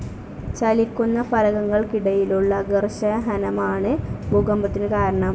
ചലിക്കുന്ന ഫലകങ്ങൾക്കിടക്കുള്ള ഘർഷഹനമാണ് ഭൂകമ്പത്തിനു കാരണം.